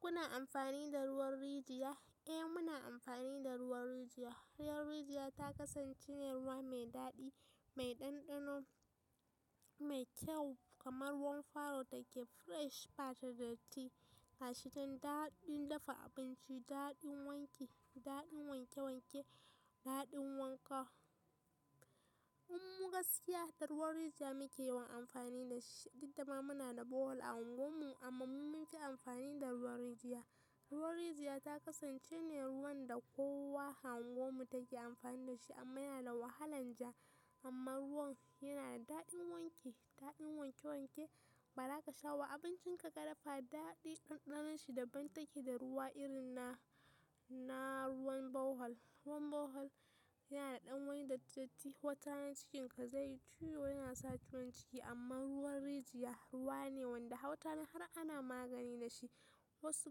Kuna amfani da ruwan rijiya? Eh, muna amfani da ruwan rijiya. Ruwan rijiya ta kasance ne ruwa mai daɗi, mai ɗanɗano, mai kyau kamar ruwan faro take fresh, bata da tatti. Gashi don daɗin dafa abinci, daɗin wanki, daɗin wanke wanke, daɗin wanka. Mu gaskiya, da ruwan rijiya muke yawan amfani da shi. Duk dama muna da bohol a unguwarmu amma mu mun fi amfani da ruwan rijiya. Ruwan rijiya ta kasance ne ruwan da kowa a unguwarmu take amfani da shi amma yana wahalan ja amma ruwan yana da daɗin wanki, daɗin wanke wanke. Bara ka sha wa abincin ka ka dafa, daɗi ɗanɗanon shi daban take da ruwa irin na, na ruwan bohol. Ruwan bohol yana da ɗan wani datti datti. Watarana cikin ka zai yi ciwo, yana sa ciwon ciki amma ruwan rijiya ruwa ne wanda watarana har ana magani da shi. Wasu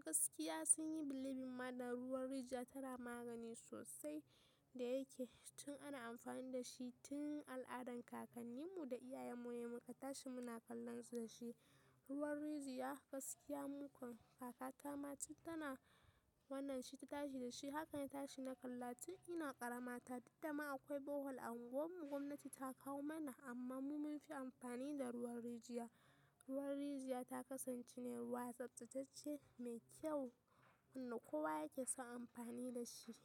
gaskiya sun yi believing macda ruwan rijiya tana magani sosai da yake tun ana amfani da shi tun al'adan kakanninmu da iyayenmu he muka tashi muna kallon su da shi. Ruwan rijiya gaskiya mukan, kakata ma tun tana wannan shi ta tashi da shi. Haka na tashi na kalla tun ina ƙarama ta. Duk dama akwai bohol a unguwarmu, gwamnati ta kawo mana amma mu mun fi amfani da ruwan rijiya. Ruwan rijiya ta kasance ne ruwa tsaftatacce, mai kyau wanda kowa yake son amfani da shi.